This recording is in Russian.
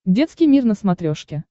детский мир на смотрешке